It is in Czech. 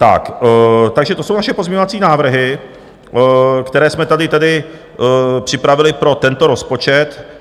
Takže to jsou naše pozměňovací návrhy, které jsme tady připravili pro tento rozpočet.